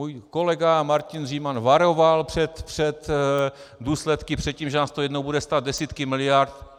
Můj kolega Martin Říman varoval před důsledky, před tím, že nás to jednou bude stát desítky miliard.